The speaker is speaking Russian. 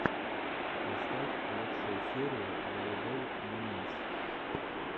поставь лучшую серию волейбол моментс